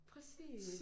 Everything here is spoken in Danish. Præcis!